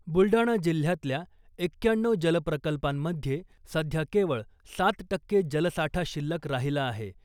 बुलडाणा जिल्हयातल्या एक्क्याण्णऊ जलप्रकल्पांमध्ये सध्या केवळ सात टक्के जलसाठा शिल्लक राहीला आहे .